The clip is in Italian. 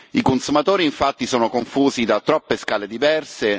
I consumatori infatti sono confusi da troppe scale diverse.